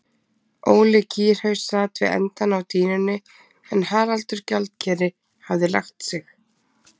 Óli kýrhaus sat við endann á dýnunni en Haraldur gjaldkeri hafði lagt sig.